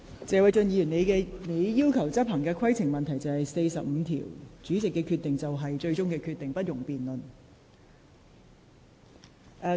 謝偉俊議員，你要求執行《議事規則》第44條，該條規定主席所作決定為最終決定，不容辯論。